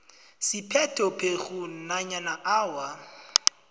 siphethophekghu nanyana awa